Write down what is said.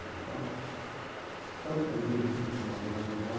tal. Será que eu podia continuar trabalhando lá?